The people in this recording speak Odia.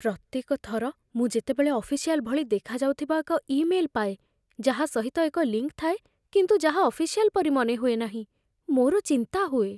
ପ୍ରତ୍ୟେକ ଥର ମୁଁ ଯେତେବେଳେ ଅଫିସିଆଲ୍ ଭଳି ଦେଖାଯାଉଥିବା ଏକ ଇମେଲ୍ ପାଏ, ଯାହା ସହିତ ଏକ ଲିଙ୍କ୍ ଥାଏ କିନ୍ତୁ ଯାହା ଅଫିସିଆଲ୍ ପରି ମନେହୁଏ ନାହିଁ, ମୋର ଚିନ୍ତା ହୁଏ।